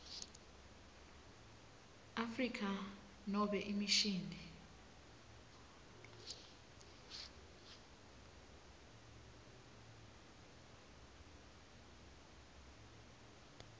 afrika nobe imishini